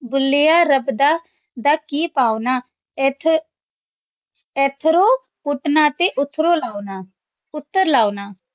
ਭੁਲ੍ਲ੍ਯਾ ਰਾਬ ਦਾ ਦਾ ਕੀ ਪੋਨਾ ਏਥੁ ਏਥ੍ਰੁ ਪੂਤਨਾ ਤੇ ਓਥ੍ਰੁ ਲਾਉਣਾ ਓਤਰ ਲਾਉਣਾ